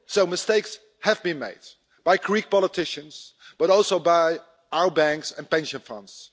Mistakes have been made by Greek politicians, but also by our banks and pension funds.